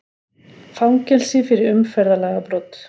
Fangelsi fyrir umferðarlagabrot